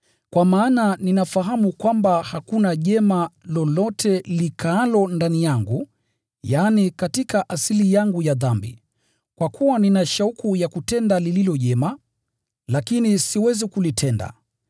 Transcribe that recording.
Kwa maana ninafahamu kwamba hakuna jema lolote likaalo ndani yangu, yaani, katika asili yangu ya dhambi. Kwa kuwa nina shauku ya kutenda lililo jema, lakini siwezi kulitenda.